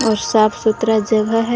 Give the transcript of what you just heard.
और साफ सुथरा जगह है।